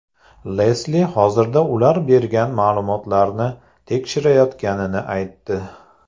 Lesli hozirda ular bergan ma’lumotlarni tekshirayotganini aytdi.